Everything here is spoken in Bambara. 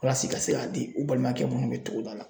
Walasa i ka se k'a di u balimakɛ minnu bɛ togoda la.